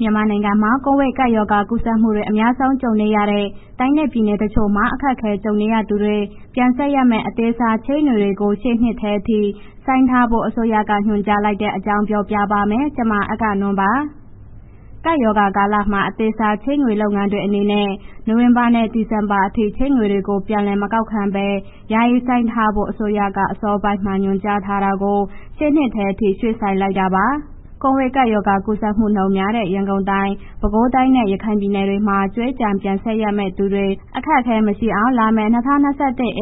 မြန်မာနိုင်ငံမှာ ကိုဗစ်ကပ်ရောဂါကူးစက်မှုတွေ အများဆုံးကြုံနေရတဲ့ တိုင်းနဲ့ပြည်နယ် တချို့မှာ အခက်အခဲကြုံနေရသူတွေ ပြန်ဆပ်ရမယ့် အသေးစားချေးငွေတွေကို ရှေ့နှစ်ထဲအထိ ဆိုင်းထားဖို့ အစိုးရက ညွှန်ကြားလိုက်ပါတယ်။ ဒီသတင်းကို အဂ္ဂနွန် ကပြောပြမှာပါ။ ကပ်ရောဂါကာလမှာ အသေးစားချေးငွေ လုပ်ငန်းတွေအနေနဲ့ နိုဝင်ဘာနဲ့ ဒီဇင်ဘာအထိ ချေးငွေတွေကို ပြန်လည်မကောက်ခံပဲ ယာယီဆိုင်းငံ့ထားဖို့ အစိုးရက အစောပိုင်းမှာ ညွှန်ကြားထားတာကို ရှေ့နှစ်ထဲအထိ ရွှေ့ဆိုင်းလိုက်တာပါ။ ကိုဗစ်ရောဂါ ကူးစက်မှုနှုန်းများတဲ့ ရန်ကုန်တိုင်း ၊ ပဲခူးတိုင်းနဲ့ ရခိုင်ပြည်နယ်တွေမှာ ကြွေးကျန် ပြန်ဆပ်ရမယ့်သူတွေ အခက်အခဲမရှိအောင် လာမယ့် ၂၀၂၁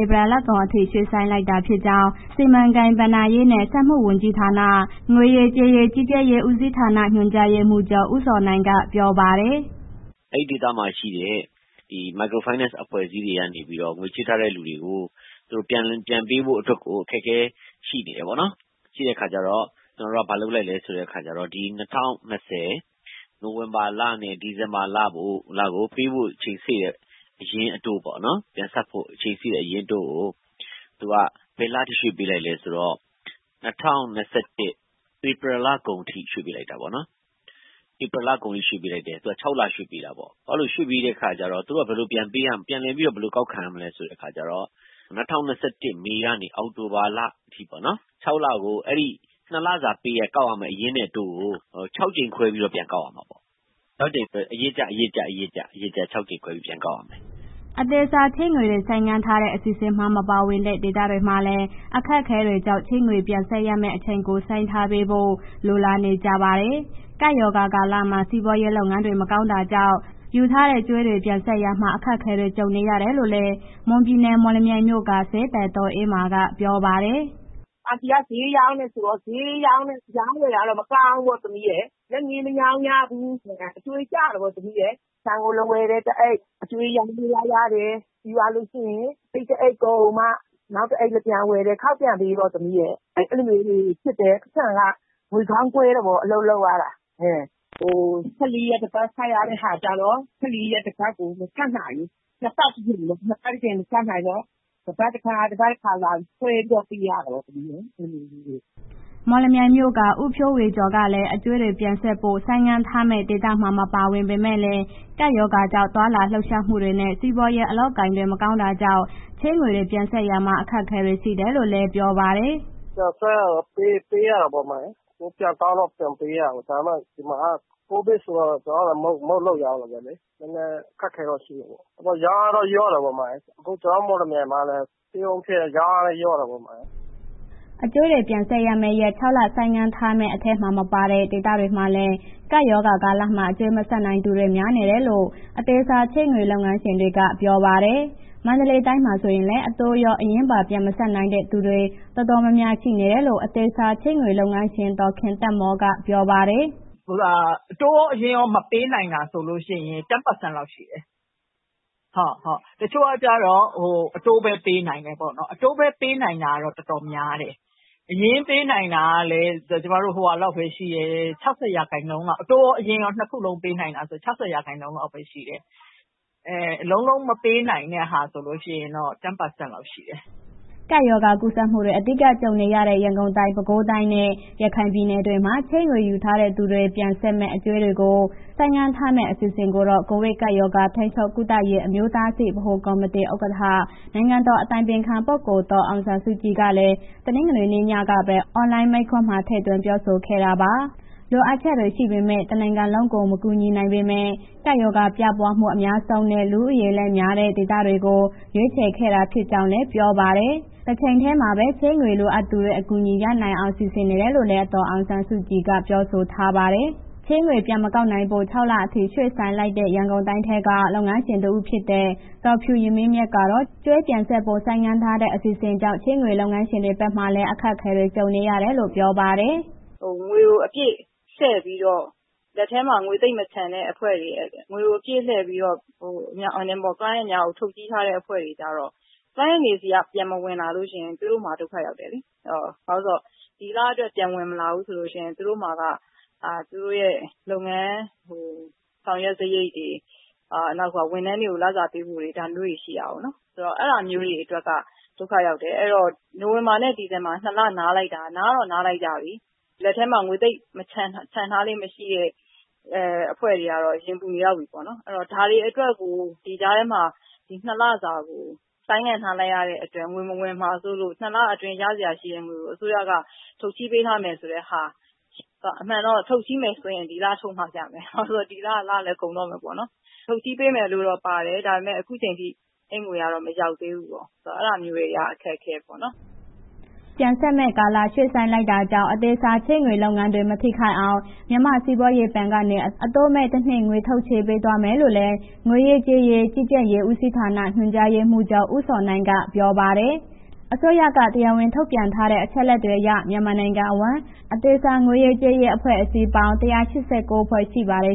ဧပြီလကုန်အထိ ရွှေ့ဆိုင်းလိုက်တာဖြစ်ကြောင်း စီမံကိန်း၊ ဘဏ္ဍားရေးနဲ့ စက်မှုဝန်ကြီးဌာန၊ ငွေရေးကြေးရေး ကြီးကြပ်ရေးဦးစီးဌာန ညွှန်ကြားရေးမှူးချုပ် ဦးဇော်နိုင်က ပြောပါတယ်။ “အဲ့ဒေသမှာရှိတဲ့ ဒီ Microfinance အဖွဲ့အစည်းတွေကနေပြီးတော့ ငွေချေးထားတဲ့ လူတွေကို သူတို့ပြန်ပေးဖို့အတွက်ကို အခက်အခဲရှိနေတယ်ပေါ့နော်၊ ရှိတဲ့အခါကျတော့ ကျနော်တို့က ဘာလုပ်လဲဆိုတဲ့အခါကျတော့ ဒီ ၂၀၂၀ နိုဝင်ဘာလနဲ့ ဒီဇင်ဘာလကို ပေးဖို့ အချိန်စေ့တဲ့ အရင်းအတိုးပေါ့၊ ပြန်ဆပ်ဖို့အချိန်စေ့တဲ့ အရင်းအတိုးကို သူက ဘယ်လအထိရွှေ့ပေးလိုက်လဲဆိုတော့ ၂၀၂၁ ဧပြီလကုန်အထိ ရွှေ့ပေးလိုက်တယ်ပေါ့နော်၊ ဧပြီလကုန်အထိရွှေ့ပေးတယ် ၆ လ ရွှေ့ပေးတာပေါ့၊ အဲ့လိုရွှေ့ပေးတဲ့အခါကျတော့ သူတို့က ဘယ်လိုပြန်ပေးရမလဲ၊ ဘယ်လိုပြန်လည် ကောက်ခံရမလဲဆိုတဲ့အခါကျတော့ ၂၀၂၁ မေလကနေ အောက်တိုဘာလအထိပေါ့နော်၊ ၆ လကို အဲ့ဒီ နှစ်လစာ ပေးရကောက်ရမယ့် အရင်းအတိုးကို ၆ ကြိမ်ခွဲပြီး ပြန်ကောက်ရမှာပေါ့၊ အရစ်ကျ ၆ကြိမ်ခွဲပြီး ပြန်ကောက်ရမယ်။” အသေးစားချေးငွေတွေ ဆိုင်းငံ့တဲ့ အစီအစဉ်မှာ မပါဝင်တဲ့ ဒေသတွေမှာလည်း အခက်အခဲတွေကြောင့် ချေးငွေပြန်ဆပ်ရမယ့်အချိန်ကို ဆိုင်းထားပေးဖို့ လိုလားနေကြပါတယ်။ ကပ်ရောဂါကာလမှာ စီးပွားရေးလုပ်ငန်းတွေ မကောင်းတာကြောင့် ယူထားတဲ့ကြွေးတွေ ပြန်ဆပ်ရာမှာ အခက်အခဲတွေ ကြုံနေရတယ်လို့လည်း မွန်ပြည်နယ် မော်လမြိုင်မြို့က ဈေးသည် ဒေါ်အေးမာက ပြောပါတယ်။ “အန်တီက ဈေးရောင်တယ်ဆိုတော့ အရောင်အဝယ်ကတော့ မကောင်းမဘူး၊ လက်ငင်းမရောင်ရလို့ အကြွေးကျတာပေါ့၊ ဆန်ကို လာဝယ်တယ် တစ်အိတ် အကြွေးနဲ့ ပြန်သွားရတယ်၊ ပြီးသွားလို့ရှိရင် အိတ်တစ်အိတ်ကုန်မှ နောက်တစ်အိတ်လာပြန်ဝယ်တယ် ခေါက်ပြန်ပေးပေါ့ အဲ့လိုမျိုးလေးတွေ ဖြစ်တယ်။ ပိုက်ဆံ ငွေခေါင်းခွဲတယ်ပေါ့ အလုပ်လုပ်ရတာ။ ၁၄ ရက် တစ်ပတ် ဆပ်ရတဲ့ဟာကို ၁၄ ရက် တစ်ပတ်ကို မဆပ်နိုင်ဘူး၊ နှစ်ပတ် တစ်ကြိမ်မဆပ်နိုင်တော့ တစ်ပတ်တစ်ခါ တစ်ပတ်တစ်ခါ ခွဲပြီးပေးတာပေါ့။” မော်လမြိုင်မြို့က ဦးဖြိုးဝေကျော်ကလည်း အကြွေးတွေ ပြန်ဆပ်ဖို့ ဆိုင်းငံ့ထားမယ့် ဒေသမှာ မပါဝင်ပေမဲ့လည်း ကပ်ရောဂါကြောင့် သွားလာလှုပ်ရှားမှုတွေနဲ့ စီးပွားရေး အလုပ်အကိုင်တွေ မကောင်းတာကြောင့် ချေးငွေတွေ ပြန်ဆပ်ရာမှာ အခက်အခဲတွေ ရှိနေတယ်လို့ပြောပါတယ်။ “ဆပ်ရတာပေါ့ ပေးရတာပေါ့၊ ပြန်ကောက်တော့ ပြန်ပေးရတယ်၊ ဒါပေမယ့် ဒီမှာက ကျနော်လည်း မုန့်လုပ်ရောင်တာပဲ ကိုဗစ်ဆိုတော့ နည်းနည်းအခက်အခဲတော့ ရှိတယ်ပေ့ါ၊ ရောင်တာလျော့တာပေါ့၊ အခုကျနော်တို့ မော်လမြိုင်မှာလည်း stay home ဖြစ်တော့ ရောင်အားလည်း လျော့တယ်။” အကြွေးတွေ ပြန်ဆပ်ရမယ့်ရက် ၆ လဆိုင်းငံ့ထားမယ့် အထဲမှာ မပါဝင်တဲ့ ဒေသတွေမှာလည်း ကပ်ရောဂါကာလမှာ အကြွေးမဆပ်နိုင်တဲ့သူ များလာနေတယ်လို့ အသေးစားချေးငွေလုပ်ငန်းရှင်တွေက ပြောပါတယ်။ မန္တလေးတိုင်းမှာဆိုရင်လည်း အတိုးရော အရင်းပါ ပြန်မဆပ်နိုင်တဲ့ သူတွေတော်တော်များများ ရှိနေတယ်လို့ အသေးစားချေးငွေလုပ်ငန်းရှင် ဒေါ်ခင်သက်မော်က ပြောပါတယ်။ “အတိုးရော အရင်းရော မပေးနိုင်တာ ၁၀ ရာခိုင်နှုန်း လောက်ရှိတယ်၊ တစ်ချု့ိကကျတော့ အတိုးပဲပေးနိုင်တယ်ပေါ့နော်၊ အတိုးပဲပေးနိုင်တာတော့ တော်တော်များတယ်၊ အတိုးရော အရင်းရော နှစ်ခုလုံးနိုင်တယ်ဆိုရင် ၆၀ ရာခိုင်နှုန်းလောက်ပဲရှိတယ်၊ လုံးလုံးမပေးနိုင်တာ ၁၀ ရာခိုင်နှုန်းလောက်ရှိတယ်။ ” ကပ်ရောဂါကူးစက်မှုတွေ အဓိက ကြုံနေရတဲ့ ရန်ကုန်တိုင်း၊ ပဲခူးတိုင်းနဲ့ ရခိုင်ပြည်နယ်တွေမှာ ချေးငွေယူထားသူတွေ ပြန်ဆပ်ရမယ့် အကြွေးတွေကို ဆိုင်းထားမယ့် အစီအစဉ်ကိုတော့ ကိုဗစ်ရောဂါ ကာကွယ်၊ ထိန်းချုပ်၊ ကုသရေး အမျိုးသားအဆင့် ဗဟိုကော်မတီ ဥက္ကဋ္ဌ နိုင်ငံတော်အတိုင်ပင်ခံပုဂ္ဂိုလ် အောင်ဆန်းစုကြည်ကလည်း တနင်္လာနေ့ညကပဲ အွန်လိုင်းမိန့်ခွန်းမှာ ထည့်သွင်းပြောဆိုခဲ့တာပါ။ လိုအပ်ချက်တွေ ရှိနေပေမဲ့ တနိုင်ငံလုံးကို မကူညီနိုင်ပေမဲ့ ရောဂါပြန့်ပွားမှု အများဆုံးနဲ့ လူဦးရေလည်းများတဲ့ ဒေသတွေကို ရွေးချယ်ခဲ့တာ ဖြစ်ကြောင်းလည်းပြောပါတယ်။ တချိန်တည်းမှာပဲ ချေးငွေလိုအပ်နေသူတွေ အကူအညီရနိုင်အောင် စီစဉ်နေတယ်လို့လည်း ဒေါ်အောင်ဆန်းစုကြည်က ပြောဆိုထားပါတယ်။ ချေးငွေမပြန်ကောက်ခံဖို့ ၆ လအထိ ရွှေ့ဆိုင်းလိုက်တဲ့ ရန်ကုန်တိုင်းထဲက လုပ်ငန်းရှင်တဦးဖြစ်တဲ့ ဒေါ်ဖြူယမင်းမြတ်ကတော့ ကြွေးပြန်ဆပ်ဖို့ ဆိုင်းငံ့တဲ့ အစီအစဉ်ကြောင့် ချေးငွေလုပ်ငန်းရှင်တွေဘက်မှာလည်း အခက်အခဲတွေ ကြုံနေရတယ်လို့ ပြောပါတယ်။ “ငွေကို အပြည့်လှည့်ပြီးတော့ လက်ထဲမှာ ငွေသိပ်မချန်အဖွဲ့တွေ client များကို ထုတ်ချေးထားတဲ့ အဖွဲ့တွေကျတော့ client တွေ ဆီက ပြန်မဝင်လာလို့ရှိရင် သူတို့မှာ ဒုက္ခရောက်တယ်လေး၊ ဘာလဲဆိုတော့ ဒီလအတွက် ပြန်ဝင်မလာဘူးဆိုလို့ရှိရင် သူတို့မှာက လုပ်ငန်းဆောင်ရွက်စရိတ်တွေ နောက်တစ်ခါ ဝန်ထမ်းတွေကို လစာပေးဖို့တွေ ဒါမျိုးတွေရှိတာပေါ့နော်၊ အဲ့ဒါမျိုးတွေအတွက်က ဒုက္ခရောက်တယ်။ အဲ့တော့ နိုဝင်ဘာနဲ့ ဒီဇင်ဘာ နှစ်လနားလိုက်တာ၊ နားတော့နားလိုက်ကြပြီ၊ လက်ထဲမှာ ငွေသိပ်ချန်ထားလေ့မရှိတဲ့ အဖွဲ့တွေ ရင်ပူနေလောက်ပြီ၊ ဒါတွေအတွက်ကို ဒီကြားထဲမှာ ဒီနှစ်လစာကို ဆိုင်းငံ့ထားလိုက်ရတဲ့အတွက် ငွေမဝင်မှာဆိုလို့ နှစ်လအတွင်းရစရာရှိတဲ့ ငွေကို အစိုးရက ထုတ်ချေးပေးထားမယ်ဆိုတဲ့ ဟာရှိတယ်၊ အမှန်တော့ ထုတ်ချေးမယ်ဆိုရင် ဒီလ ထုတ်ချေးမှရမယ်၊ ဒီလ လလည်းကုန်တော့မယ်ပေါ့နော်၊ ထုတ်ချေးမယ်လို့ ပါတယ်၊ ဒါမယ့် အခုန်ချိန်ထိ အဲ့ငွေတွေက မရောက်သေးဘူးပေါ့၊ အဲ့ဒါမျိုးက အခက်အခဲပေါ့။” ချေးငွေပြန်ဆပ်မယ့် ကာလ ရွှေ့ဆိုင်းလိုက်တာကြောင့် အသေးစားငွေချေးလုပ်ငန်းတွေ မထိခိုက်အောင် မြန်မာ့စီးပွားရေးဘဏ်ကနေ အတိုးမဲ့ တစ်နှစ်ငွေထုတ်ချေးပေးသွားမယ့်လို့လည်း ငွေရေးကြေးရေး ကြီးကြပ်ရေးဦးစီးဌာန ညွှန်ကြားရေးမှူးချုပ် ဦးဇော်နိုင်က ပြောပါတယ်။ အစိုးရက တရားဝင်ထုတ်ပြန်ထားတဲ့ အချက်အလက်တွေအရ မြန်မာနိုင်ငံအဝန်း အသေးစားငွေရေးကြေးရေး အဖွဲ့အစည်းပေါင်း ၁၈၉ ဖွဲ့ ရှိပါတယ်။